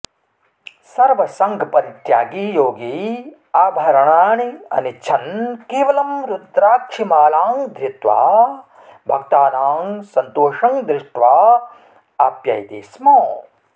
सर्वसङ्गपरित्यागी योगी आभरणानि अनिच्छन् केवलं रुद्राक्षिमालां धृत्वा भक्तानां सन्तोषं दृष्ट्वा आप्ययते स्म